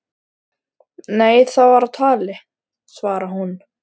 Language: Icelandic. Nei það var á tali, svarar hún.